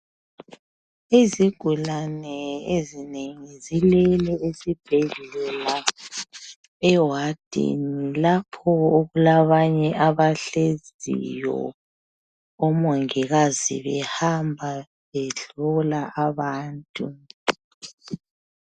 Izigulane ezinengi zilele esibhedlela ewadini lapho okulabanye abahleziyo omongikazi behamba behlola abantu.